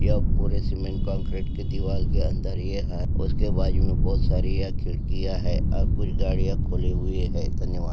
यह पूरे cement concrete के दिवार के अंदर ये है उसके बाजू मे बहुत सारी यह खिडकीया है और कुछ गाड़ियां खुली हुई है धन्यवाद।